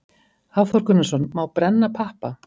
Hafþór Gunnarsson: Má brenna pappa?